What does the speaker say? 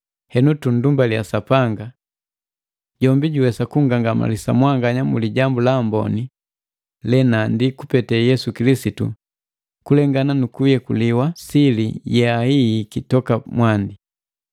Henu, tunndumbalia Sapanga! Jombi juwesa kunngangamalisa mwanganya mu Lijambu la Amboni lenandi kupete Yesu Kilisitu na kulengana nukuyekuliwa sili ye yahihiki toka mwandi.